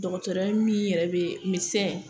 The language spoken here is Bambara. Dɔgɔtɔrɔya min yɛrɛ be medesɛn